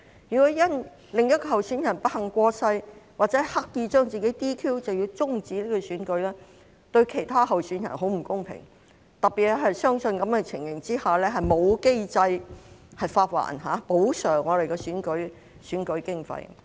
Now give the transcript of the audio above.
如果因另一位候選人不幸過世或刻意把自己 "DQ"， 便要終止選舉，對其他候選人很不公平，特別是在這樣的情況下，沒有機制發還或補償候選人的選舉經費。